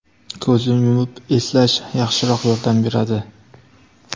Ko‘zni yumib eslash yaxshiroq yordam beradi.